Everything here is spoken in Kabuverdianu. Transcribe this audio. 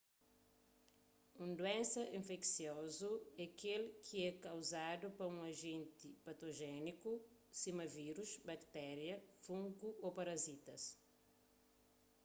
un duénsa infeksiozu é kel ki é kauzadu pa un ajenti patojéniku sima vírus baktéria fungu ô parazitas